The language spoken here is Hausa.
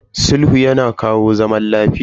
Sulhu yana kawo zaman lafiya.